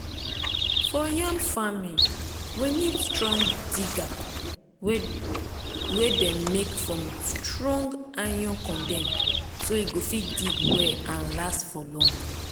for yam farming we need strong digger wey dem make from strong iron condem so e go fit dig well and last for long